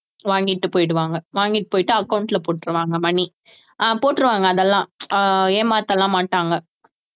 வாங்கிட்டு போயிடுவாங்க வாங்கிட்டு போயிட்டு account ல போட்டிருவாங்க money ஆஹ் போட்டுருவாங்க அதெல்லாம் ஆஹ் ஏமாத்தலாம்மாட்டாங்க